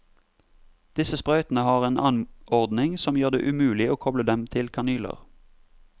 Disse sprøytene har en anordning som gjør det umulig å koble dem til kanyler.